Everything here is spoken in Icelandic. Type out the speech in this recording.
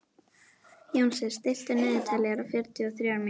Jónsi, stilltu niðurteljara á fjörutíu og þrjár mínútur.